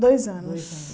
Dois anos.